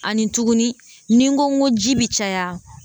Ani tuguni ni n ko n ko ji bi caya